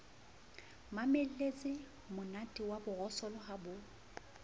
mamelletsemonate wa borosolo ha bo